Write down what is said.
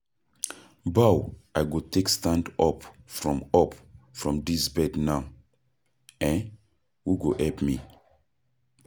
Bow I go take stand up from up from dis bed now? um Who go help me?